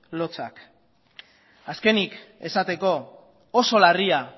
lotsak azkenik esateko oso larria